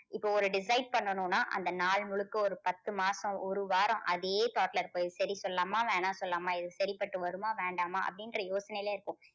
இப்போ ஒரு decide பண்ணணும்னா அந்த நாள் முழுக்க ஒரு பத்து மாசம் ஒரு வாரம் அதே thought ல இது சரி சொல்லலாமா வேணாம் சொல்லலாமா இது சரிப்பட்டு வருமா வேண்டாமா அப்படின்ற யோசனையிலேயே இருப்போம்.